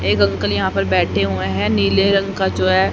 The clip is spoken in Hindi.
एक अंकल यहां पर बैठे हुए हैं नीले रंग का जो है।